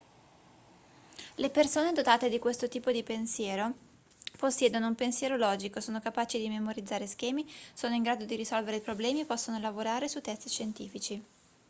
le persone dotate di questo tipo di pensiero possiedono un pensiero logico sono capaci di memorizzare schemi sono in grado di risolvere problemi e possono lavorare su test scientifici